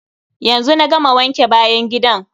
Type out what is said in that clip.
Yanzu na gama wanke bayan gidan.